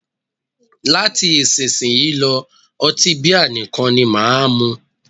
Láti isísìnyí lọ́, ọtí bíà nìkan ni máà mú.